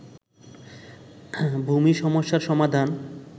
ভূমি সমস্যার সমাধান